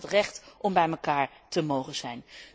Het gaat over het recht om bij elkaar te mogen zijn.